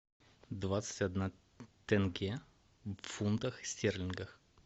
двадцать одна тенге в фунтах стерлингах